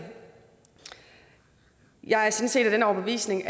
jeg er sådan set af den overbevisning